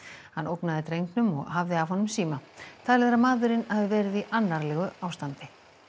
hann ógnaði drengnum og hafði af honum síma talið er að maðurinn hafi verið í annarlegu ástandi